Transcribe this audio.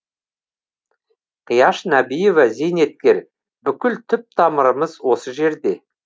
қияш нәбиева зейнеткер бүкіл түп тамырымыз осы жерде